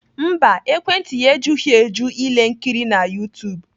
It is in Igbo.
Mba, ekwentị ya ejughị eju ile nkiri na YouTube